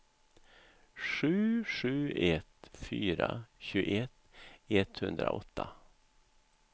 sju sju ett fyra tjugoett etthundraåtta